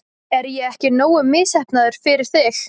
Er ég ekki nógu misheppnaður fyrir þig?